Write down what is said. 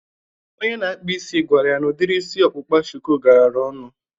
Onye na-akpa isi gwara ya na udiri isi ọkpụkpa shuku garara ọnụ